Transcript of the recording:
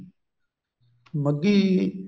ਮੱਗੀ